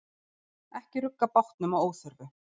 Ekki rugga bátnum að óþörfu.